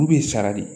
Olu bɛ sara de